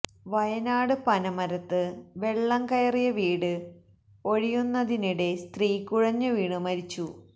വയനാട് പനമരത്ത് വെള്ളം കയറിയ വീട് ഒഴിയുന്നതിനിടെ സ്ത്രീ കുഴഞ്ഞു വീണ് മരിച്ചു